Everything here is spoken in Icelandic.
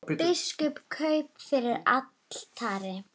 Biskup kraup fyrir altari.